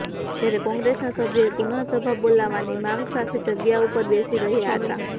જયારે કોંગ્રેસના સભ્યો એ પુનઃ સભા બોલાવવાની માગ સાથે જગ્યા ઉપર બેસી રહ્યા હતા